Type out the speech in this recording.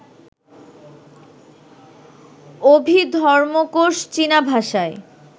অভিধর্মকোশ চীনা ভাষায়